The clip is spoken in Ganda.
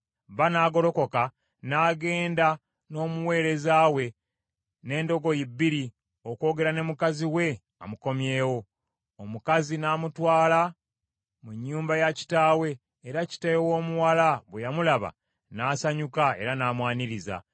Bba n’agolokoka n’agenda n’omuweereza we n’endogoyi bbiri okwogera ne mukazi we amukomyewo. Omukazi n’amutwala mu nnyumba ya kitaawe era kitaawe w’omuwala bwe yamulaba n’asanyuka era n’amwaniriza.